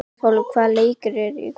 Svanhólm, hvaða leikir eru í kvöld?